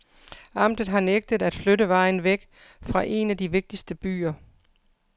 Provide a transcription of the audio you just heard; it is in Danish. Amtet har nægtet at flytte vejen væk fra en af de vigtigste byer.